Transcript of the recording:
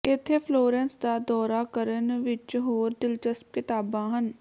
ਇੱਥੇ ਫਲੋਰੈਂਸ ਦਾ ਦੌਰਾ ਕਰਨ ਵਿਚ ਹੋਰ ਦਿਲਚਸਪ ਕਿਤਾਬਾਂ ਹਨ